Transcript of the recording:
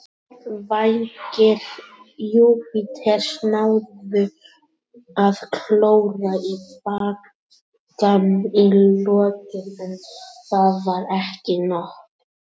Vængir Júpiters náðu að klóra í bakkann í lokin, en það var ekki nóg.